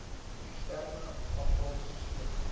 eksterne afval sisteme